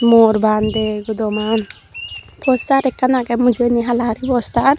mor bande gudoman postar ekkan agey mujungendi halaguri postar.